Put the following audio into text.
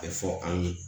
A bɛ fɔ an ye